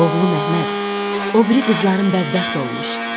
Oğlum Əhməd, o biri qızların bədbəxt olmuş.